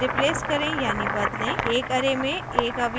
* एक array में एक अवयव कैसे जोड़ें और